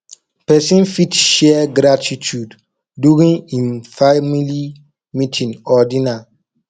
person fit share gratitude during im family meeting or dinner